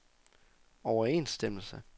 overensstemmelse